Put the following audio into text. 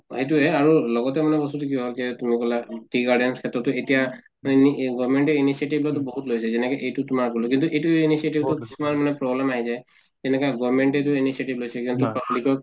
এইটোয়ে আৰু লগতে মানে বস্তুটো কি হʼল কে তুমি কলা tea garden ৰ খেত্ৰতো এতিয়া government য়ে initiative লোৱাতো বহুত লৈছে যেনেকে এইটো তোমাৰ গলো কিন্তু এইটো initiative ত তোমাৰ মানে problem আহি যায় । যেনেকে গৰ্মেন্তে তো initiative লৈছে কিন্তু public ৰ